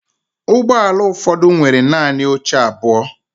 Ụgbọ ala ụfọdụ nwere naanị oche abụọ.